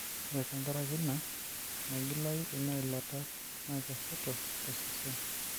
ore tenkaraki ina ,meigilayu ina ilata, naa kesoto tosesen.